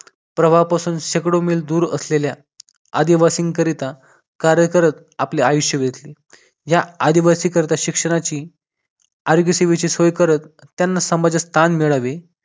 प्रवाहापासून शेकडो मिल दूर असणाऱ्या आदिवासींकरिता कार्य करत आपल्या आयुष्य वेदले. या आदिवासी करता शिक्षणाची आरोग्य सेवेची सोय करत त्यांना समाजात स्थान मिळावे